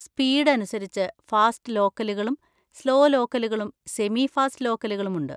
Speed അനുസരിച്ച് fast ലോക്കലുകളും slow ലോക്കലുകളും സെമി ഫാസ്റ്റ് ലോക്കലുകളും ഉണ്ട്.